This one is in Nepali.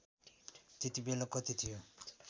त्यतिबेला कति थियो